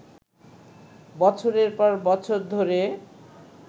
বছরের পর বছর ধরে